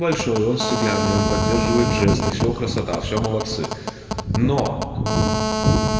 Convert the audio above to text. большой он стеклянный он поддерживает жесты все красота все молодцы но